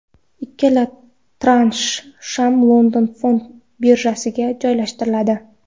Ikkala transh ham London fond birjasiga joylashtiriladi.